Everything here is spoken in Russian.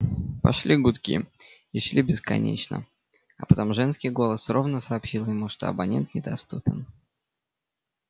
пошли гудки и шли бесконечно а потом женский голос ровно сообщил ему что абонент недоступен